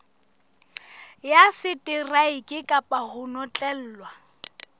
ya seteraeke kapa ho notlellwa